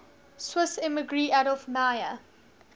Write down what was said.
swiss emigree adolf meyer